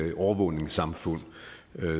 et overvågningssamfund